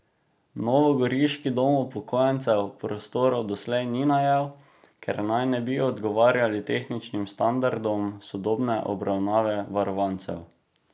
Novogoriški dom upokojencev prostorov doslej ni najel, ker naj ne bi odgovarjali tehničnim standardom sodobne obravnave varovancev.